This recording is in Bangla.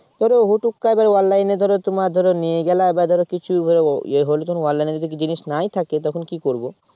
করে হুটুকাই ধর Online এ ধরো তোমার ধরো নিয়ে গেলে এবার ধরো কিছু ইয়ে হলো তখন Online এ যদি জিনিস নাই থাকে তখন কি করব